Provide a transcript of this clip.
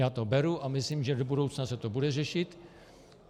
Já to beru a myslím, že do budoucna se to bude řešit.